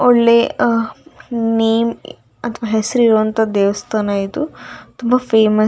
ಒಳ್ಳೆ ನೇಮ್‌ ಅಥವಾ ಹೆಸ್ರು ಇರುವಂತ ದೇವಸ್ಥಾನ ಇದು ತುಂಬ ಫೇಮಸ್ .